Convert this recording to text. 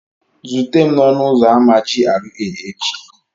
Zute m n'ọnụ ụzọ ámá GRA echi!